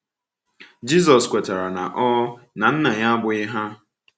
Jizọs kwetara na ọ na Nna ya abụghị hà.